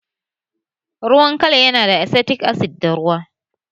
Ruwan kal yana da asetik asid da ruwa